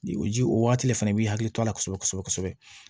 O ji o waati de fɛnɛ b'i hakili to a la kosɛbɛ kosɛbɛ